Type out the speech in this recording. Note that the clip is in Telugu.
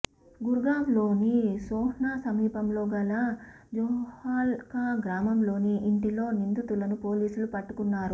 గుర్గావ్లోని సోహ్నా సమీపంలో గల జోహాల్కా గ్రామంలోని ఇంటిలో నిందితులను పోలీసులు పట్టుకున్నారు